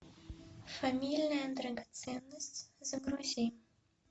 фамильная драгоценность загрузи